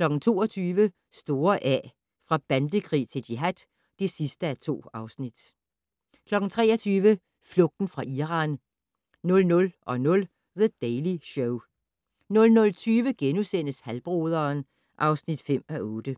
22:00: Store A - fra bandekrig til jihad (2:2) 23:00: Flugten fra Iran 00:00: The Daily Show 00:20: Halvbroderen (5:8)*